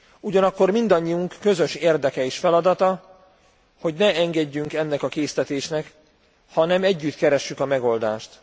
Ugyanakkor mindannyiunk közös érdeke és feladata, hogy ne engedjünk ennek a késztetésnek, hanem együtt keressük a megoldást.